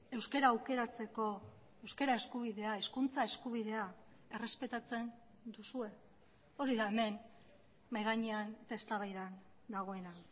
euskara aukeratzeko euskara eskubidea hizkuntza eskubidea errespetatzen duzue hori da hemen mahai gainean eztabaidan dagoena